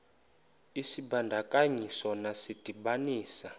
isibandakanyi sona sidibanisa